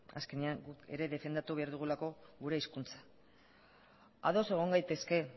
azkenean guk ere defendatu behar dugulako gure hizkuntza ados egon gaitezke